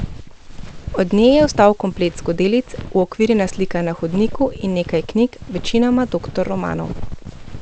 Od nje je ostal komplet skodelic, uokvirjena slika na hodniku in nekaj knjig, večinoma doktor romanov.